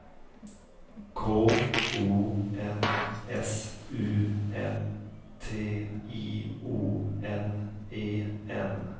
K O N S U M T I O N E N